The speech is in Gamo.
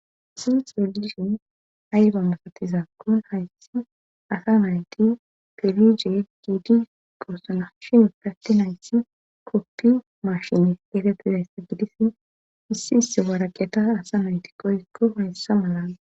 si xuradishin ayba masatizaakkon hayssi asa nayti pilige giidi gorsana shin katti hayssi koppi maashini geetettidaysse gidis issi isse waaraqeta asa nayti qoykko hayssa malaa